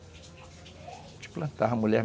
A gente plantava a mulher.